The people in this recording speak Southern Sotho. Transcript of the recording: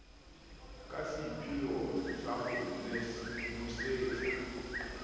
ka seipheo sa ho nosetsa